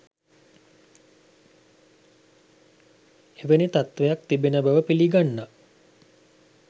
එවැනි තත්වයක් තිබෙන බව පිළිගන්නා